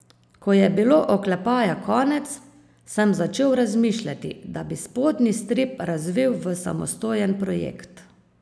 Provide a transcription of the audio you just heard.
Ko je bilo Oklepaja konec, sem začel razmišljati, da bi spodnji strip razvil v samostojen projekt.